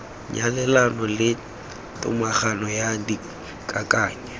nyalelano le tomagano ya dikakanyo